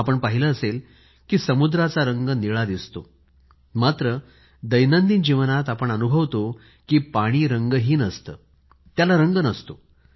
आपण पहिले आहे की समुद्राचा रंग निळा दिसतो मात्र दैनंदिन जीवनात आपण अनुभवतो की पाणी रंगहीन असते त्याला रंग नसतो